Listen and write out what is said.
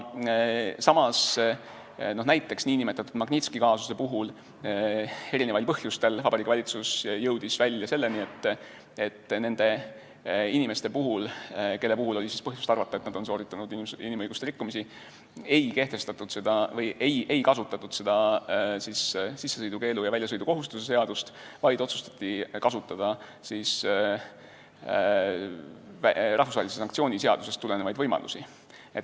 Samas näiteks nn Magnitski kaasuse puhul jõudis valitsus erinevatel põhjustel välja selleni, et nende inimeste puhul, kelle puhul oli põhjust arvata, et nad on sooritanud inimõiguste rikkumisi, ei kasutatud väljasõidukohustuse ja sissesõidukeelu seadust, vaid otsustati kasutada rahvusvahelise sanktsiooni seadusest tulenevaid võimalusi.